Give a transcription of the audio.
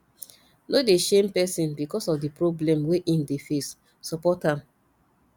no dey shame person because of di problem wey im dey face support am